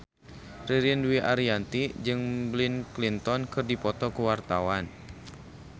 Ririn Dwi Ariyanti jeung Bill Clinton keur dipoto ku wartawan